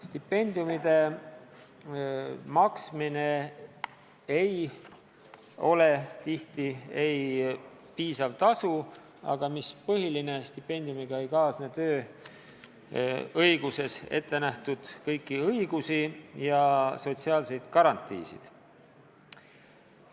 Stipendiumid ei ole tihti piisav tasu, aga mis põhiline: stipendiumiga ei kaasne kõiki tööõiguses ettenähtud õigusi ja sotsiaalseid garantiisid.